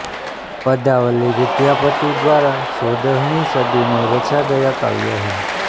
पदावली विद्यापति द्वारा चौदहवीं सदी में रचा गया काव्य है